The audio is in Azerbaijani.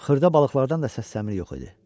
Xırda balıqlardan da səsləmir yox idi.